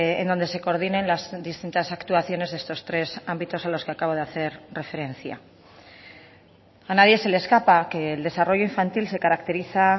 en donde se coordinen las distintas actuaciones de estos tres ámbitos a los que acabo de hacer referencia a nadie se le escapa que el desarrollo infantil se caracteriza